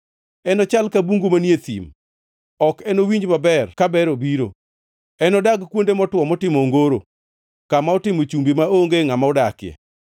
Enochal ka bungu manie thim; ok enowinj maber ka ber obiro. Enodag kuonde motwo motimo ongoro, kama otimo chumbi maonge ngʼama odakie.